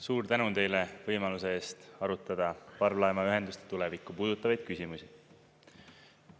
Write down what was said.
Suur tänu teile võimaluse eest arutleda parvlaevaühenduste tulevikku puudutavaid küsimusi.